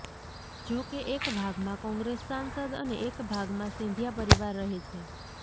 જો કે એક ભાગમાં કોંગ્રેસ સાંસદ અને એક ભાગમાં સિંધિયા પરિવાર રહે છે